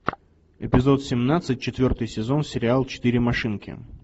эпизод семнадцать четвертый сезон сериал четыре машинки